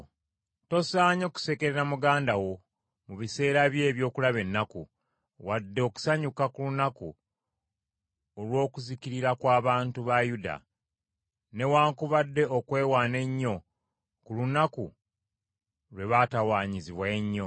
Tosaanye kusekerera muganda wo mu biseera bye eby’okulaba ennaku, wadde okusanyuka ku lunaku olw’okuzikirira kw’abantu ba Yuda, newaakubadde okwewaana ennyo ku lunaku lwe baatawaanyizibwa ennyo.